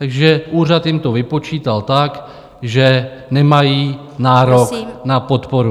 Takže úřad jim to vypočítal tak, že nemají nárok na podporu.